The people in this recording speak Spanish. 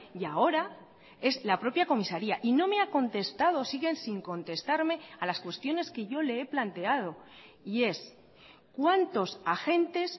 y ahora es la propia comisaría y no me ha contestado siguen sin contestarme a las cuestiones que yo le he planteado y es cuántos agentes